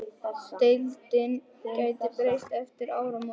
Deildin gæti breyst eftir áramót.